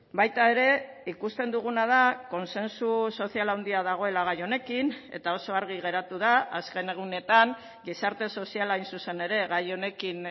baita ere ikusten duguna da kontsensu sozial handia dagoela gai honekin eta oso argi geratu da azken egunetan gizarte soziala hain zuzen ere gai honekin